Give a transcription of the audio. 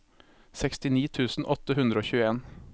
sekstini tusen åtte hundre og tjueen